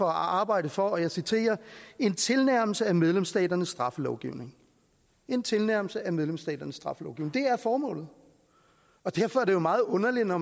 arbejde for og jeg citerer en tilnærmelse af medlemsstaternes straffelovgivning en tilnærmelse af medlemsstaternes straffelovgivning det er formålet og derfor er det jo meget underligt at når